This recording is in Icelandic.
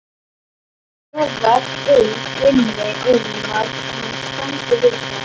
Hún efast innst inni um að hann standi við það.